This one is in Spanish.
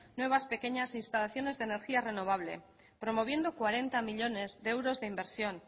nuevas pequeñas instalaciones de energía renovable promoviendo cuarenta millónes de euros de inversión